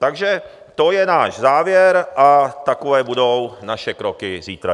Takže to je náš závěr a takové budou naše kroky zítra.